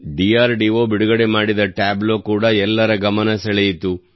DRDO ಬಿಡುಗಡೆ ಮಾಡಿದ tableau ಕೂಡ ಎಲ್ಲರ ಗಮನ ಸೆಳೆಯಿತು